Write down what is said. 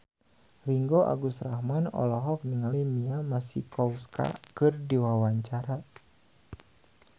Ringgo Agus Rahman olohok ningali Mia Masikowska keur diwawancara